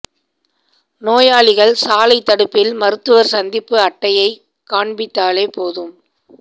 நோயாளிகள் சாலை தடுப்பில் மருத்துவர் சந்திப்பு அட்டையைக் காண்பித்தாலே போதும்